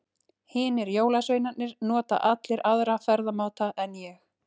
Hinir jólasveinarnir nota allir aðra ferðamáta en ég.